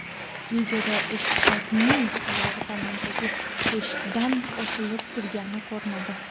Videoda eshakning oyog‘i tomdagi teshikdan osilib turgani ko‘rinadi.